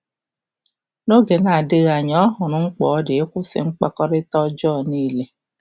N’oge adịghị anya, ọ hụrụ mkpa ọ dị ịkwụsị mkpakọrịta ọjọọ niile.